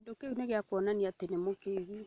Kĩndũkĩu nĩgĩakũonia atĩ nĩ mũkĩgu